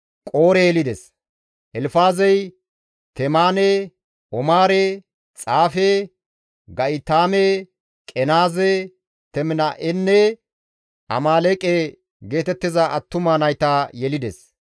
Elfaazey Temaane, Omaare, Xaafe, Ga7itaame, Qenaaze, Teminaa7enne Amaaleeqe geetettiza attuma nayta yelides.